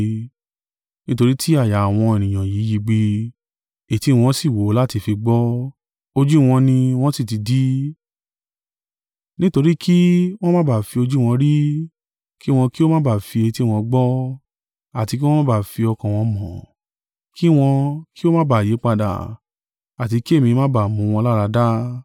Nítorí ti àyà àwọn ènìyàn yìí yigbì, etí wọn sì wúwo láti fi gbọ́, ojú wọn ni wọn sì ti di. Nítorí kí wọn má ba à fi ojú wọn rí, kí wọn kí ó má ba à fi etí wọn gbọ́, àti kí wọn má ba à fi ọkàn wọn mọ̀, kí wọn kí ó má ba à yípadà, àti kí èmi má ba à mú wọn láradá.’